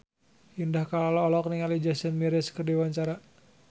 Indah Kalalo olohok ningali Jason Mraz keur diwawancara